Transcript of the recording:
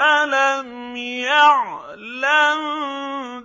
أَلَمْ يَعْلَم